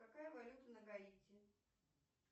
какая валюта на гаити